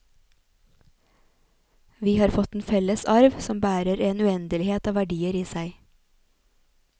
Vi har fått en felles arv som bærer en uendelighet av verdier i seg.